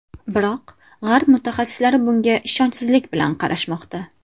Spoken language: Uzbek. Biroq g‘arb mutaxassislari bunga ishonchsizlik bilan qaramoqda.